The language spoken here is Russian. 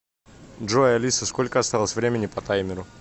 джой алиса сколько осталось времени по таймеру